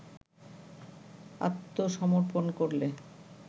আত্মসমর্পণ করলে